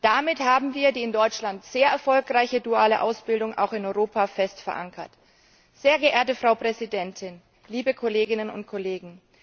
Damit haben wir die in Deutschland sehr erfolgreiche duale Ausbildung auch in Europa fest verankert. Sehr geehrte Frau Präsidentin, liebe Kolleginnen und Kollegen!